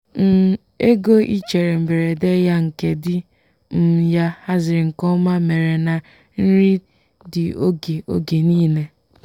um ego ichere mberede ya nke di um ya haziri nke ọma mere na nri dị oge oge niile.